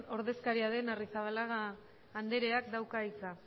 ordezkaria den arrizabalaga andreak dauka hitza